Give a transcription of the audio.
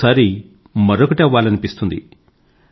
మరోసారి మరొకటి అవ్వాలనిపిస్తుంది